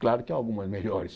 Claro que algumas melhores.